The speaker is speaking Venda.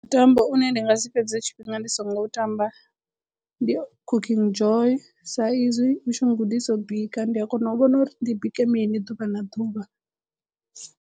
Mutambo une ndi nga si fhedze tshifhinga ndi songo u tamba ndi Cooking Joy sa izwi u tshi n gudisa u bika, ndi a kona u vhona uri ndi bike mini ḓuvha na ḓuvha.